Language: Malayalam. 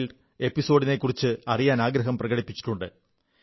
വൈൽഡ് എപ്പിസോഡിനെക്കുറിച്ച് അറിയാനാഗ്രഹം പ്രകടിപ്പിച്ചിട്ടുണ്ട്